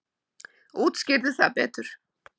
Útskýrðu það betur.